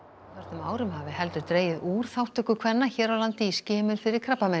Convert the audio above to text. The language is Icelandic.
árum hafi heldur dregið úr þátttöku kvenna hér á landi í skimun fyrir krabbameinum